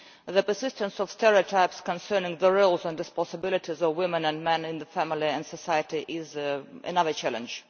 The persistence of stereotypes concerning the roles and responsibilities of women and men in the family and in society is another challenge.